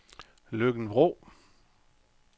Løkken-Vrå